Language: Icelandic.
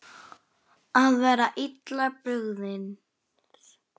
Allt var spurn og óvissa.